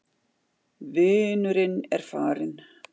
Vinurinn er farinn.